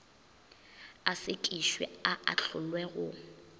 a sekišwe a ahlolwe go